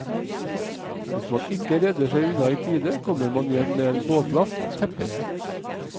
Hvis man ikke redder seg unna i tide, kommer man hjem med en båtlast tepper.